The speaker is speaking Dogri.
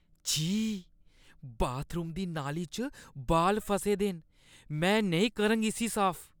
छी! बाथरूम दी नाली च बाल फसे दे न। में नेईं करङ इस्सी साफ।